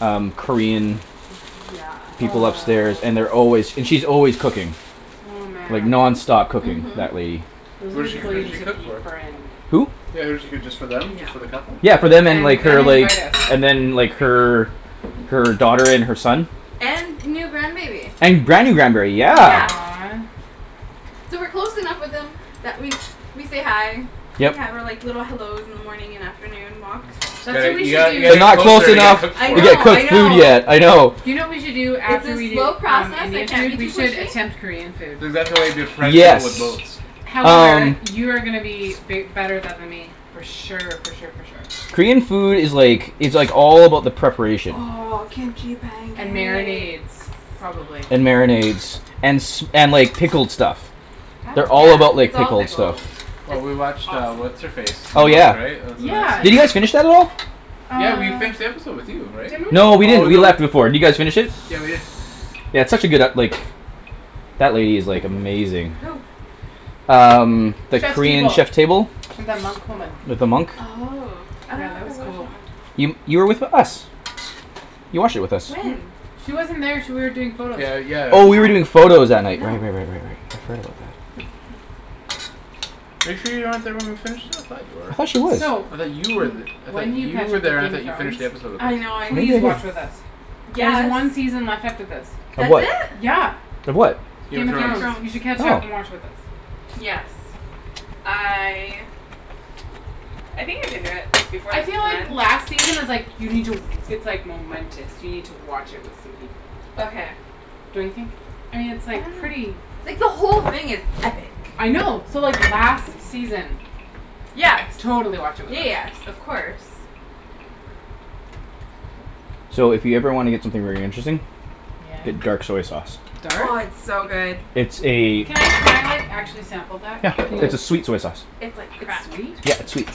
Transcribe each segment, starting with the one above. um, Korean Yes. people Oh upstairs and they're s- always, and she's always cooking. oh Like man. nonstop cooking, Mhm. that lady. Those Who are does she, people who you does she need to cook for? befriend. Who? Yeah does she cook just for them, Yeah. just for the couple? Yeah for them and And like, then her like, invite us. and then like her, her daughter and her son. And new grandbaby. And Granny grand berry, yeah. Yeah. Aw. So we're close enough with them that we, we say hi. We Yep. have our like, little hellos in the morning and afternoon walks. You That's what got- we you should gotta, you gotta do. We're get not close closer to get enough to cooked I for get know, you. I cooked food know. yet, I know. Do you know what we should do It's after a we do slow um, process. I Indian can't food? be We too should pushy. attempt Korean food. That's exactly why you befriend people with Yes. boats. However, Um. you are gonna be bi- better than th- me. For sure for sure for sure. Korean food is like, it's like all about the preparation. Oh, kimchi And pancakes. marinades, probably. And marinades. And s- and like pickled stuff. They Yeah, all about Oh. like it's all pickled pickles. stuff. Well It's we watched uh, awesome. what's her face? Oh yeah. Yeah. Did you guys finish that at all? Yeah we Uh finished the episode with you, right? Didn't No we? we Oh didn't, we no. left before. Did you guys finish it? Yeah we did. Yeah it's such a good ep- like that lady is like, amazing. Who? Um, that Chef's Korean Table. Chef Table. And the monk woman. With the monk. Oh. I Yeah, dunno that if I was watched cool. that one. You, you were with us. You watched it with us. When? She wasn't there. She wa- you were doing photos. Yeah, Yeah. yeah. Oh you were doing photos that night. No. Right right right right right. I forgot about that. Are you sure you weren't there when we finished that? I thought I thought she you were. was. So. I thought you were th- I thought When you you catch were up there. with I Game of thought you finished Thrones the episode with us. I know. Please watch with us. I There's Yes! one season left after this. Of That's what? it? Yeah! Of what? Game Game of Game of of Thrones. Thrones. Thrones. You should catch up and Oh. watch with us. Yes. I I think I can do it before I the feel season like ends. last season is like, you need to w- it's like momentous. You need to watch it with some people. Okay. Don't you think? I mean it's I like, don't know. pretty Like the whole thing is epic. I know. So like last season Yes. Totally watch it with Yeah us. yes, of course. So if you ever wanna get something very interesting Get Yeah? dark soy sauce. Oh Dark? it's so good. It's a Can I, can I like actually sample that? Yeah. Can you It's a sweet soy sauce. It's like It's crack. sweet? Yeah, it's sweet.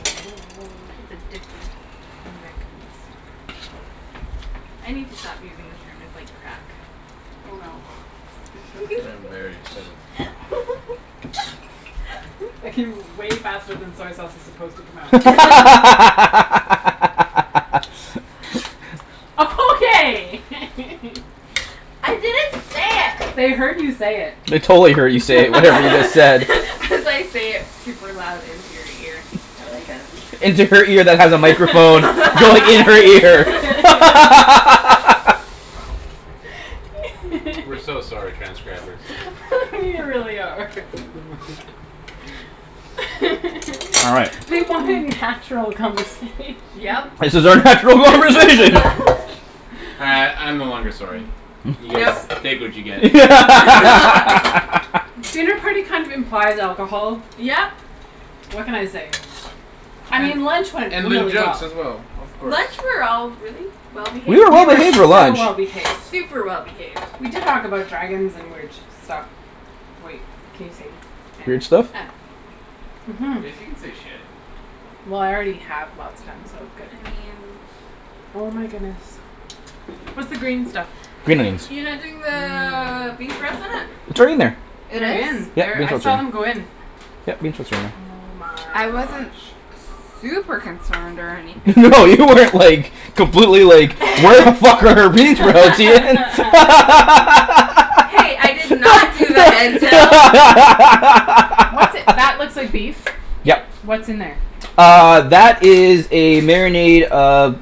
It's addicting. Oh my goodness. I need to stop using the term "It's like crack". Oh, no. I'm very Shh excited. That came way faster than soy sauce is supposed to come out. Okay! I didn't say it! They heard you say it. They totally heard you say it, whatever you just said. As I say it super loud into your ear. I like it. Into her ear that has a microphone going in her ear. We're so sorry, transcribers. We really are. All right. We want natural conversation. Yep. This is our natural Yeah. conversation. Uh I'm no longer sorry. You guys No. take what you get. Dinner party kind of implies alcohol. Yep! What can I say? I mean lunch went And loo really well. as well, of course. Lunch we were all really well We behaved. were We well were behaved for so lunch. well behaved. Super well behaved. We did talk about dragons and weird shi- stuff. Wait, can you say Weird stuff? Mhm. Yes you can say "shit". Well I already have lots of times, so good. I mean Oh my goodness. What's the green stuff? You're not doing the Mmm. beef? It's right in there. It They're is? in there. I saw them go in. Oh my I wasn't gosh. super concerned or anything. No you weren't like, completely like, "Where the fuck are our bean sprouts, Ian?" Hey, I did not do What's that looks like beef. Yep. Yeah. What's in there? Uh, that is a marinade of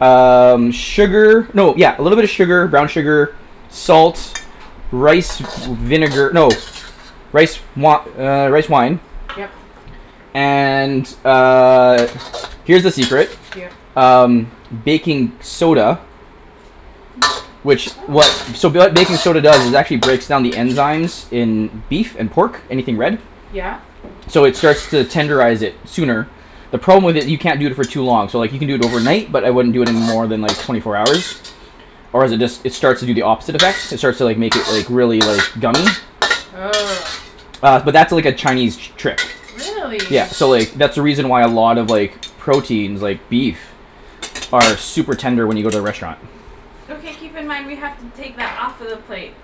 um, sugar. No yeah, little bit of sugar, brown sugar, salts, rice with s- vinegar. No. Rice wi- er, rice wine Yep. And uh, here's the secret. Yep. Um, baking soda. Which w- so Ooh. what baking soda does is actually breaks down the enzymes in beef and pork, anything red. Yeah. So it starts to tenderize it sooner. The problem with it, you can't do it for too long. So like you can do it overnight but I wouldn't it more than like twenty four hours, or is it d- it starts to do the opposite effect. It starts to like, make it like, really like, gummy. Ugh. Uh but that's like a Chinese t- trick. Really? Yeah. So like, that's the reason why a lot of like proteins, like beef, are super tender when you go to the restaurant. Okay keep in mind we have to take that off of the plate.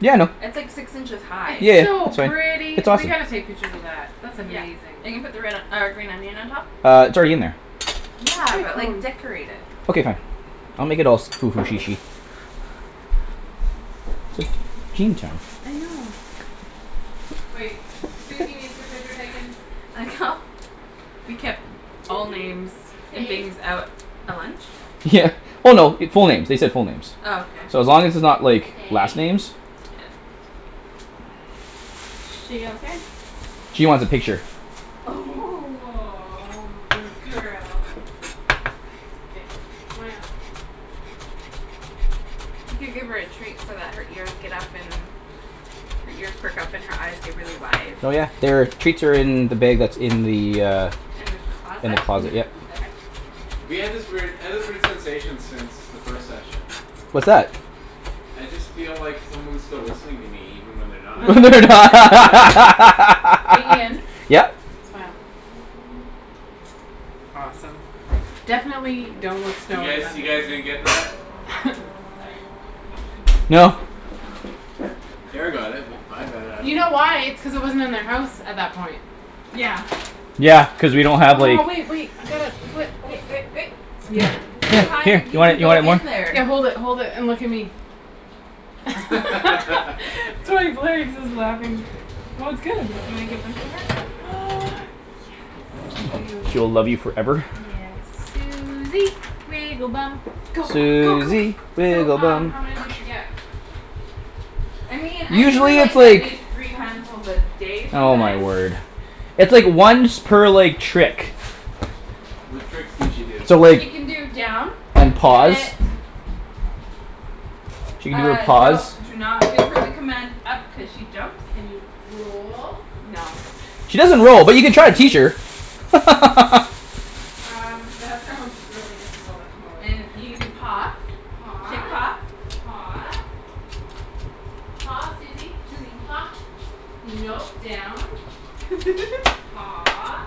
Yeah I know. It's like six inches high. It's Yeah, so that's right. pretty! It's We awesome. gotta take pictures of that. That's Yeah. amazing. Are you gonna put the red, uh green onion on top? Uh, it's already in there. Where's Yeah, my but like phone? decorate it. Okay fine, I'll make it all spoof and chichi. I know. Wait, Suzy needs her picture taken. we kept all Suzy, names and stay. things out at lunch? Yeah. Well no, it- full names. They said full names. Oh okay. So as long as it's not like, Stay. last names. She okay? She wants a picture. Aw, good girl. K, smile. You could give her a treat so that her ears get up and, her ears perk up and her eyes get really wide. Oh yeah. They're, treats are in the bag that's in the, uh In the In the closet? closet, yep. Okay. We had this weird, I had this weird sensation since the first session. What's that? I just feel like someone's still listening to me even when they're not. They're Yeah. Hey Ian? n- Yep? Smile. Awesome. Definitely don't look. You guys, you guys didn't get that? Ah! Sorry. No. Kara got it. With, I got it, I You don't know. know why? It's cuz it wasn't in their house at that point. Yeah. Yeah, cuz we don't have Oh, like- wait wait, I got it. Wai- oh. Yep, Here, Too here, good. high to here. g- Do g- I, do go I in there. Yeah. Hold it hold it, and look at me. laughing. Well it's good. Do you wanna give them to her? Yes, I do. She will love you forever. Yes. Suzy, wiggle bum. Go, go go Suzy, go. So wiggle um, bum. how many Go does get she 'em. get? I mean, I give her, Usually it's like, at like least three handfuls a day Oh, my sometimes. word. It's, like, once per, like, trick. What tricks can she do? So like, She can do down, and Down. sit. pause. She can do a Ah, don't, pause. do not give her the command "up" cuz she jumps. Can you roll? No. She K. doesn't roll, but you can try and teach Stay? her. Um, that sounds really difficult at the moment. And you can do paw, Paw. shake paw. Paw. Paw, Susie. Susie. Paw, no, down. Paw.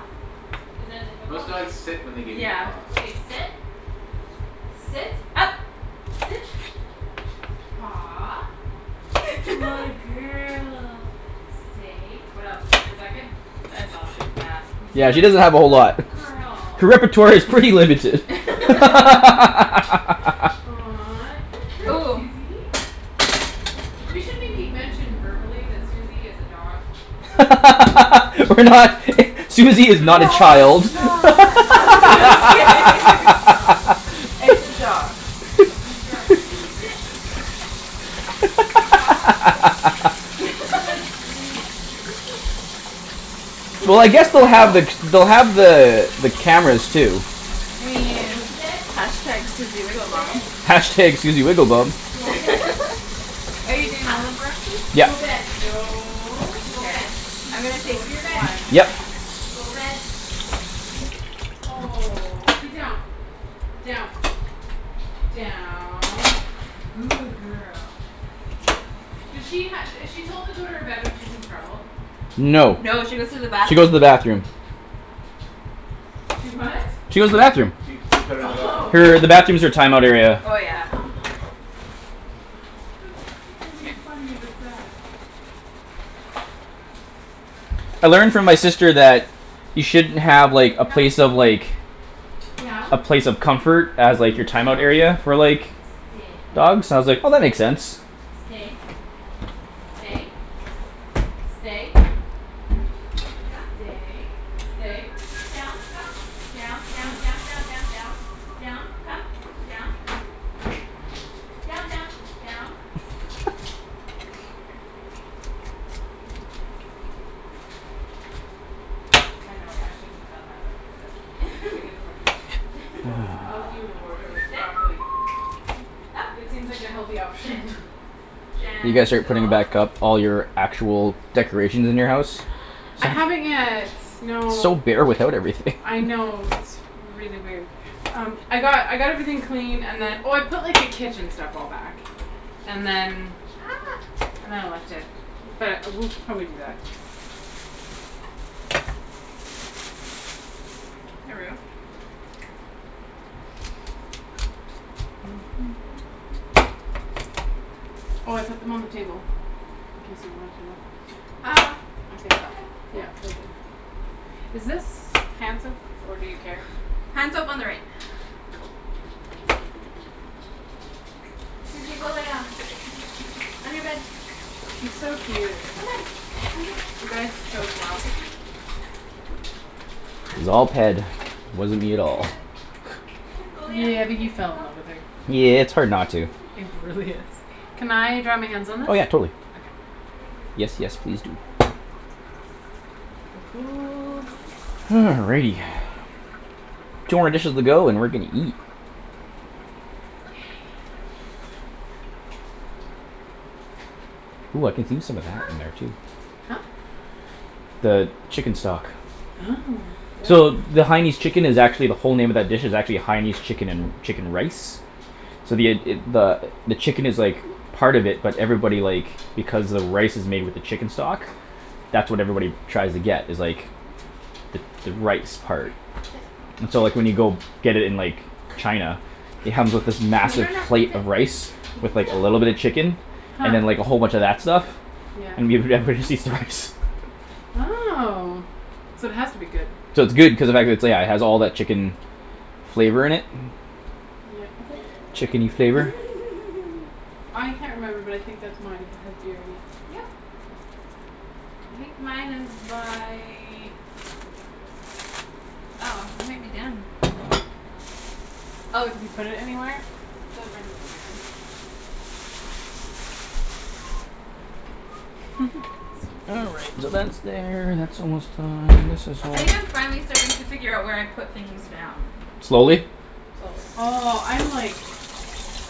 Is that Most difficult? dogs sit when they give you a Yeah. paw. Okay, sit. Sit. Up. Sit. Paw. Good girl. Stay. What else? And is that good? That's all she's got. Yeah, You're she a doesn't have a whole good lot. girl. Her repertoire is pretty limited. Aw, good girl, Ooh. Susie. We should maybe mention verbally that Susie is a dog. We're not i- Susie is not a Yeah, child. it's It's not. not a Just child; kidding. it's not. It's a dog. Good girl. Susie, sit. Paw, good girl. Quit Well, I breaking the guess they'll fourth Down. have wall. the, they'll have the, the cameras too. I Go mean to bed. Bed. #Susiewigglebomb. #Susiewigglebum. Go bed. Are you K, doing up. all the Go Yep. bed, no, go Mkay, bed. I'm gonna Go take to your bed. one. Yep. Go bed. Oh. K, Down. Down. Down. Good girl. do she ha- is she told to go to her bed when she's in trouble? No, No, she she goes goes to to the bathroom. the bathroom. She what? She She goes to the goe- bathroom. she, they put her in the bathroom. Oh. Her, the bathroom's her timeout area. Oh, yeah. That's really funny but sad. I learned from my sister that you shouldn't have, like, a Come. place of, like Down. a place of comfort as, like, your timeout Down. area for, like Stay. dogs and I was like, "Oh that makes Stay, sense." stay. Stay. Stay. Come. Stay, stay. Down, come. Down. Down, Okay. down, down, down, down. Down. Come. Down. Down, down. Down. I know. I shouldn't have done that, but I did it. She gets more treats. I'll let you reward her with Susie, . sit. Up, It seems like the healthy sit, option. You guys are putting gentle. back up all your actual decorations in your house? I Some Good haven't yet, girl. It's so no. bare without everything. I know. It's really weird. Um, I got, I got everything cleaned and then, oh, I put, like, the kitchen stuff all back. And then And then I left it. But we'll probably do that. Oh, I put them on the table, in case you wanted to know. Ah, I think. okay, yeah. Yeah, I did. Is this hand soap or do you care? Hand soap on the right. Cool. Susie, go lay down. On your bed. She's so cute. Come on, on your bed, You come on, guys chose well. come here, baby. On. It was all Ped. Wasn't me at On your all. bed. Come on, go lay down, Yeah, but hey, you fell in go. love with her. Come on, Yeah, it's hard come on, not to. come on, It come on. really is. Come on. Can I dry my hands go. on this? Oh Okay yeah, totally. There you Yes, yes, please do. go. Good girl. Ooh. Yeah, you're such a Alrighty. good girl. Two more dishes to go, and we're gonna eat. Ooh, I can do some of that in there too. Huh? The chicken stock. Oh, yeah. So the Haianese chicken is actually the whole name of that dish is actually a Haianese chicken and, chicken rice. So the id- id- the, the chicken is like part of it but everybody, like because the rice is made with the chicken stock that's what everybody tries to get is like the, the rice part. Sit. So, Sit. like, when you go get it in, like China it comes with this No, massive no, no, plate sit. of rice with like a little bit of chicken Huh. and then, like, a whole bunch of that stuff Yeah. and give, everybody just eats the rice. Oh, so it has to be good. So it's good cuz of the fact it's, yeah, it has all that chicken flavor in it. Yeah, oh, Chickeny flavor. I can't remember but I think that's mine if it has beer in it Yep. I think mine is by Oh, I might be done. Oh, it's Did you put it anywhere? over in the living room. All right, so that's there; that's almost done. And this is all I think I'm finally starting to figure out where I put things down. Slowly? Slowly. Oh, I'm like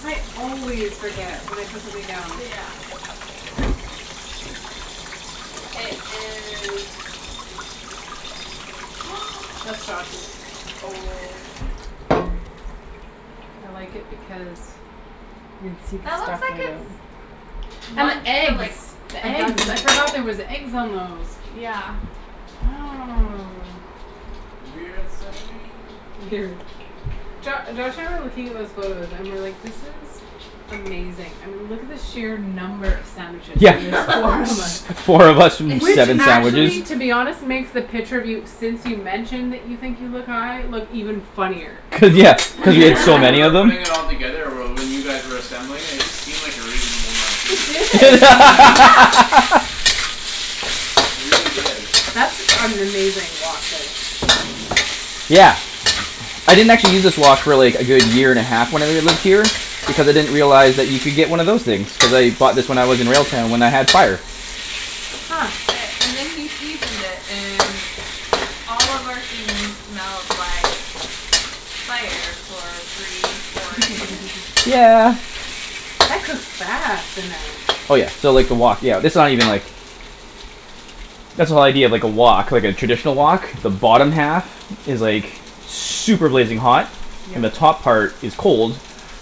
I always forget when I put something down. Yeah. It is That's Josh's. Oh. I like it because you can see That the looks out. like it's And the one for, eggs. like, The a dozen eggs, I forgot people. there was eggs on those. Yeah. Oh. Jo- Josh, I remember looking at those photos and we're like, "This is amazing." I mean look at the sheer number of sandwiches, Yeah. and there's four of us. S- four of us with Which seven actually sandwiches. to be honest makes the picture of you since you mentioned that you think you look high look even funnier. Do you Cuz know yeah, what's cuz you have weird, so when we many were of them. putting it all together or well, when you guys were assembling it, it just seemed like a reasonable amount of It food. did. Yeah. Yeah. It really did. That's an amazing wok there. Yeah. I didn't actually use this wok, really, a good year and half when I lived here because I didn't realize that you could get one of those things. Cuz I bought this when I was in Railtown when I had fire. Huh. Okay, and then he seasoned it and all of our things smelled like fire for three, four days. That cooks fast in there. Oh, yeah, so, like, the wok, yeah, this is not even like That's the whole idea of, like, a wok, like, a traditional wok. The bottom half is like super blazing hot Yeah. and the top part is cold